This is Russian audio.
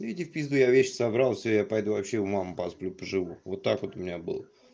иди в пизду я вещи собрал все я пойду вообще у мамы посплю поживу вот так вот у меня было